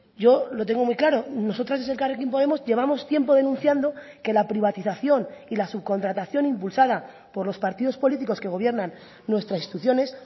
yo lo tengo muy claro nosotras desde elkarrekin podemos llevamos tiempo denunciando que la privatización y la subcontratación impulsada por los partidos políticos que gobiernan nuestras instituciones